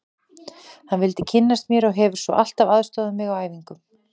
Hann vildi kynnast mér og hefur svo alltaf aðstoðað mig á æfingum.